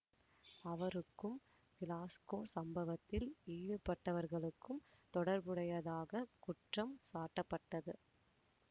அவருக்கும் கிளாஸ்கோ சம்பவத்தில் ஈடுபட்டவர்களுக்கும் தொடர்புடையதாக குற்றம் சாட்டப்பட்டது